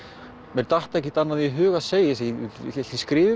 mér datt ekkert annað í hug að segja ætli ég skrifi